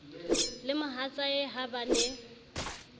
le mohatsae ha ba ne